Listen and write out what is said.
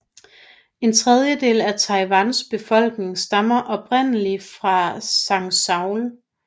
En tredjedel af Taiwans befolkning stammer oprindelig fra Zhangzhou